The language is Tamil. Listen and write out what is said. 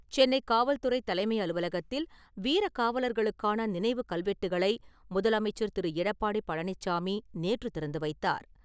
சென்னை காவல்துறை தலைமை அலுவலகத்தில் வீர காவலர்களுக்கான நினைவு கல்வெட்டுகளை முதலமைச்சர் திரு. எடப்பாடி பழனிச்சாமி நேற்று திறந்து வைத்தார்.